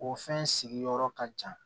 O fɛn sigiyɔrɔ ka ca